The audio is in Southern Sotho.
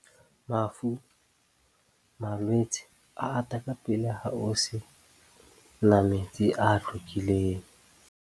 Mafu, malwetse a ata ka pele ha ho se na metsi a hlwekileng.